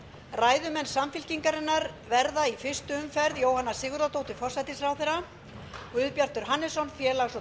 ræðumenn samfylkingarinnar verða í fyrstu umferð jóhanna sigurðardóttir forsætisráðherra guðbjartur hannesson félags og